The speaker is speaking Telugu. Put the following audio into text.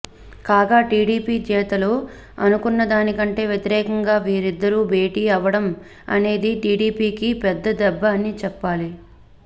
కాగా టీడీపీ నేతలు అనుకున్నదానికంటే వ్యతిరేకంగా వీరిద్దరూ భేటీ అవడం అనేది టీడీపీ కి పెద్ద దెబ్బ అనే చెప్పాలి